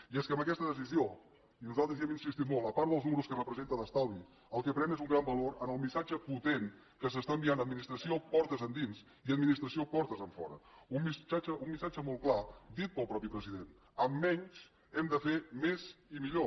i és que amb aquesta decisió i nosaltres hi hem insistit molt a part dels números que representa d’estalvi el que pren és un gran valor en el missatge potent que s’està enviant administració portes endins i administració portes enfora un missatge molt clar dit pel mateix president amb menys hem de fer més i millor